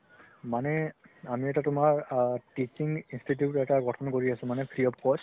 মানে আমি এটা তুমাৰ আ teaching institute এটা গথন কৰি আছো মানে free of cost